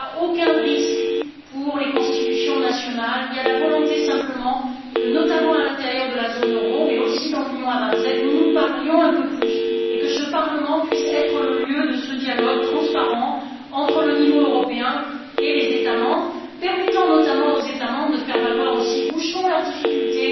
Il n'y a aucun risque pour les constitutions nationales, il y a simplement la volonté que, notamment à l'intérieur de la zone euro, mais aussi dans l'Union à vingt sept, nous nous parlions un peu plus et que ce Parlement puisse être le lieu de ce dialogue transparent entre le niveau européen et les États membres, qu'il permette notamment à ceux ci d'exprimer leurs difficultés,